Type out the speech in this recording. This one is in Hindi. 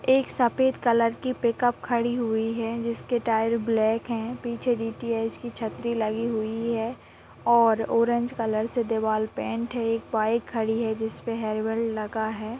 एक सफेद कलर की पिकअप खड़ी हुई है जिसके टार ब्लैक हैं। पीछे डी_टी_एच की छतरी लगी हुई है और ऑरेंज कलर से देवाल पेंट है एक बाइक खड़ी है जिसपे हेलमेट लगा है।